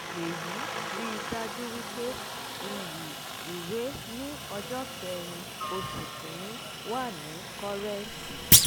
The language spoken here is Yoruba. èyí ri dájú wípé iyì ìwé ni ọjọ́ kẹrin oṣù kìíní wà ní kọ́rẹ̀ǹtì